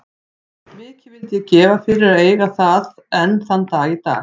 Mikið vildi ég gefa fyrir að eiga það enn þann dag í dag.